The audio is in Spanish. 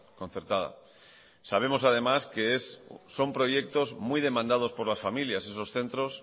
concertada sabemos además que son proyectos muy demandados por las familias esos centros